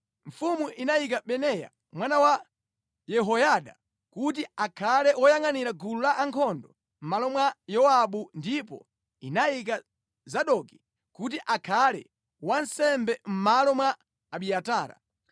Mfumu inayika Benaya mwana wa Yehoyada kuti akhale woyangʼanira gulu lankhondo mʼmalo mwa Yowabu ndipo inayika Zadoki kuti akhale wansembe mʼmalo mwa Abiatara.